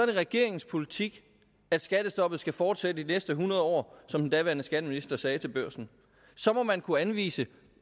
det regeringens politik at skattestoppet skal fortsætte de næste hundrede år som den daværende skatteminister sagde til børsen og så må man kunne anvise